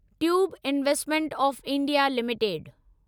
tube investment of India limited